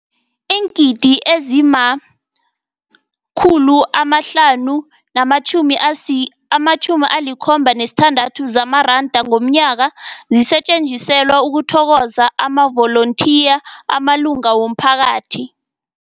Iingidi ezima-576 zamaranda ngomnyaka zisetjenziselwa ukuthokoza amavolontiya amalunga womphakathi.